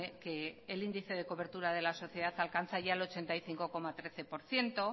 que el índice de cobertura de la sociedad alcanza ya el ochenta y cinco coma trece por ciento